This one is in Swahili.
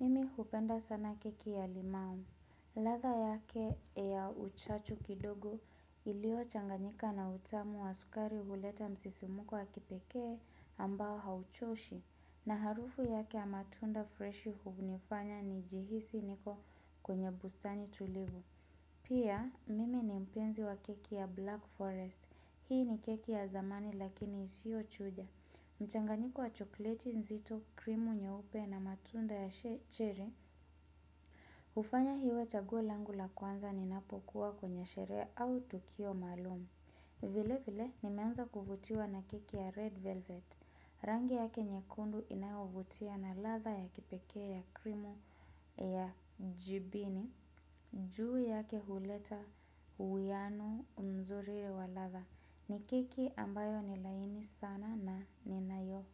Mimi hupenda sana keki ya limau. Latha yake ya uchachu kidogo ilio changanyika na utamu wa sukari huleta msisimuko wa kipekee ambao hauchoshi. Na harufu yake ya matunda fresh hunifanya nijihisi niko kwenye bustani tulivu. Pia mimi ni mpenzi wa keki ya black forest. Hii ni keki ya zamani lakini isio chuja. Mchanganyiko wa chokleti nzito krimu nyeupe na matunda ya cherry hufanya iwe chaguo langu la kwanza ninapokuwa kwenye sherehe au tukio maalumu. Vile vile nimeanza kuvutiwa na keki ya red velvet. Rangi yake nyekundu inayovutia na latha ya kipekee ya krimu ya jibini. Juu yake huleta uwiano mzuri wa latha. Ni keki ambayo ni laini sana na ninayo.